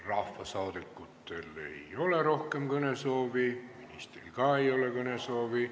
Rahvasaadikutel ei ole rohkem kõnesoovi, ministril ka ei ole kõnesoovi.